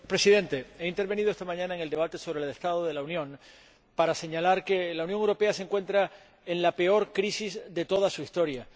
Señor Presidente, he intervenido esta mañana en el debate sobre el Estado de la Unión para señalar que la Unión Europea se encuentra en la peor crisis de toda su historia